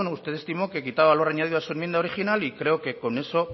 usted estimó que quitaba lo añadido a su enmienda original y creo que con eso